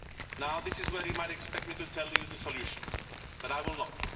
Now this is where you might expect me to tell you the solution, but I will not.